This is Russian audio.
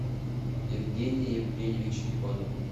евгений евгеньевич иванов